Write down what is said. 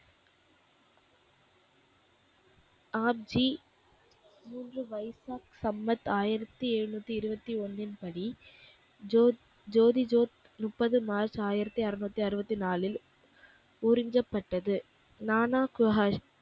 ஆப்ஜி மூன்று வைசாக் சம்மத் ஆயிரத்தி ஏழுநூத்தி இருபத்தி ஒன்னின் படி ஜோத் ஜோதி ஜோத் முப்பது மார்ச் ஆயிரத்தி அருநூத்தி அறுபத்தி நாலில் உறிஞ்சப்பட்டது.